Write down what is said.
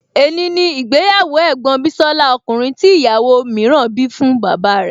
È ní ni ìgbéyàwó ẹ̀gbọ́n bísọ́lá ọkùnrin tí ìyàwó mìíràn bí fún bàbá rẹ̀